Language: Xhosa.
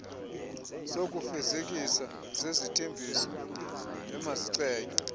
zokufezekisa zezithembiso emazicetywe